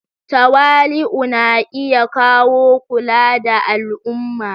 Tawali'u na iya kawo kula da al'umma.